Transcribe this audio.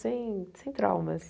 Sem sem traumas.